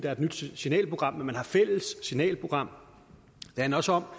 er et nyt signalprogram men at man har fælles signalprogram det handler også om